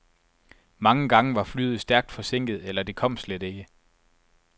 Mange gange var flyet stærkt forsinket, eller det kom slet ikke.